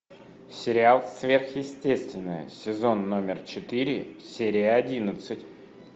сериал сверхъестественное сезон номер четыре серия одиннадцать